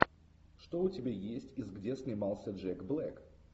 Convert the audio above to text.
что у тебя есть из где снимался джек блэк